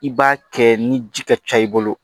I b'a kɛ ni ji ka ca i bolo